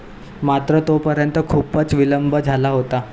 मात्र तोपर्यंत खूपच विलंब झाला होता.